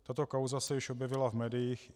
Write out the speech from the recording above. Tato kauza se již objevila v médiích.